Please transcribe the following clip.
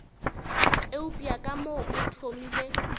eupša ka mo o thomile